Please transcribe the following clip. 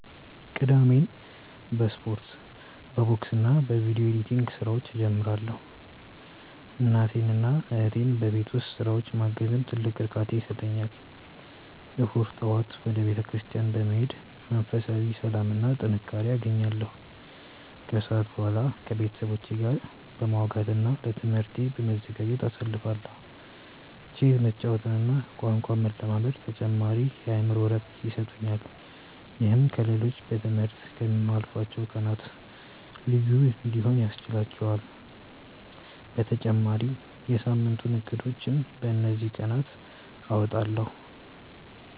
ቅዳሜን በስፖርት፣ በቦክስና በቪዲዮ ኤዲቲንግ ስራዎች እጀምራለሁ። እናቴንና እህቴን በቤት ውስጥ ስራዎች ማገዝም ትልቅ እርካታ ይሰጠኛል። እሁድ ጠዋት ወደ ቤተክርስቲያን በመሄድ መንፈሳዊ ሰላምና ጥንካሬ አገኛለሁ፤ ከሰዓት በኋላ ከቤተሰቦቼ ጋር በማውጋትና ለትምህርቴ በመዘጋጀት አሳልፋለሁ። ቼዝ መጫወትና ቋንቋ መለማመድም ተጨማሪ የአእምሮ እረፍት ይሰጡኛል። ይህም ከ ሌሎቹ በ ትምህርት ከ ምያልፉት ቀናት ልዩ እንዲሆኑ ያስችህላቹአል በተጨማሪም የ ሳምንቱን እቅዶችን በ እንዚህ ቀናት አወጣለሁ።